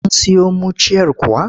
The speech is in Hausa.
Kun siyo muciyar kuwa?